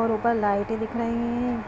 और ऊपर लाइटें दिख रही हैं।